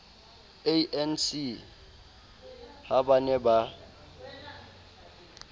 anc ha ba ne ba